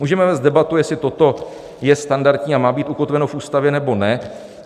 Můžeme vést debatu, jestli toto je standardní a má být ukotveno v Ústavě, nebo ne.